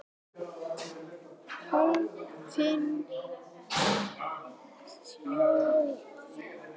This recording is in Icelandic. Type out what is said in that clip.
Klofin þjóð.